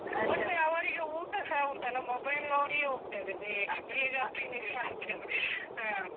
ಮತ್ತೇ ಅವ್ರಿಗೆ ಊಟಸ ಉಂಟಲ್ಲ mobile ನೋಡಿಯೇ ಹೋಗ್ತದೆ ಬೇಗ ಬೇಗ finish ಮಾಡ್ತೇವೆ .